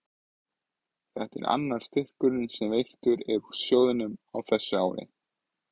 Þetta er annar styrkurinn sem veittur er úr sjóðnum á þessu ári.